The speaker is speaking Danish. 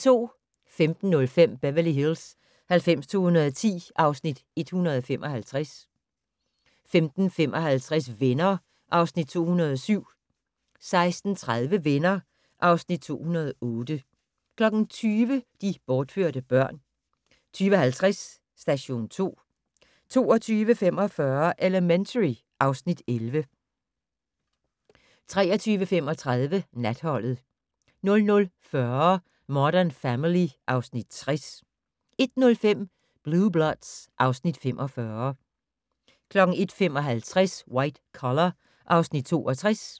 15:05: Beverly Hills 90210 (Afs. 175) 15:55: Venner (Afs. 207) 16:30: Venner (Afs. 208) 20:00: De bortførte børn 20:50: Station 2 22:45: Elementary (Afs. 11) 23:35: Natholdet 00:40: Modern Family (Afs. 60) 01:05: Blue Bloods (Afs. 45) 01:55: White Collar (Afs. 62)